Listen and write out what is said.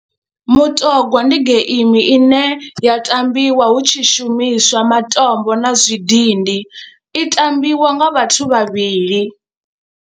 Mutogwa ndi geimi ine ya tambiwa hu tshi shumiswa matombo na zwidindi, i tambiwa nga vhathu vhavhili.